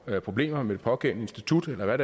problemer med det pågældende institut eller hvad